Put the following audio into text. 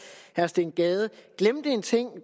herre steen gade glemte en ting